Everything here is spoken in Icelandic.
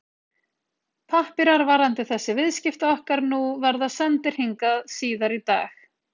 Pappírar varðandi þessi viðskipti okkar nú verða sendir hingað síðar í dag.